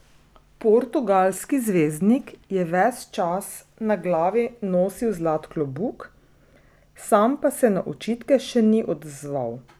Portugalski zvezdnik je ves čas na glavi nosil zlat klobuk, sam pa se na očitke še ni odzval.